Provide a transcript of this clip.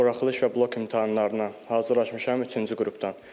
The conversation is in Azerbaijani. Buraxılış və blok imtahanlarına hazırlaşmışam üçüncü qrupdan.